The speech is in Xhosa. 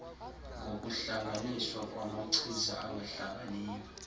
ngokuhlanganiswa kwamachiza angahlanganiyo